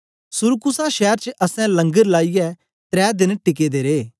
सुरकूसा शैर च असैं लंगर लाईयै त्रै देन टिके दे रे